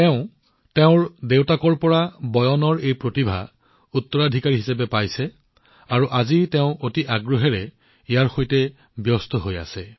তেওঁ দেউতাকৰ পৰা বয়নৰ এই আশ্চৰ্যকৰ প্ৰতিভা উত্তৰাধিকাৰীসূত্ৰে লাভ কৰিছে আৰু আজি তেওঁ সম্পূৰ্ণ আবেগেৰে ইয়াত জড়িত হৈ পৰিছে